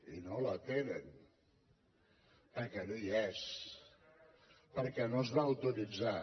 i no el tenen perquè no hi és perquè no es va autoritzar